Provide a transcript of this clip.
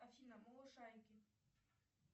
афина малышарики